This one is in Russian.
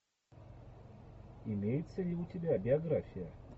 имеется ли у тебя биография